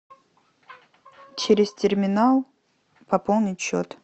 через терминал пополнить счет